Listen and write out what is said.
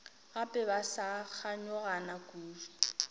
gape ba sa kganyogana kudu